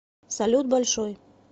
салют большой